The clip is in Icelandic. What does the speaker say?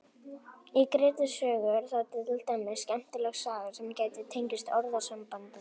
Í Grettis sögu er til dæmis skemmtileg saga sem gæti tengst orðasambandinu.